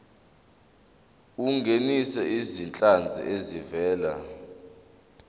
ungenise izinhlanzi ezivela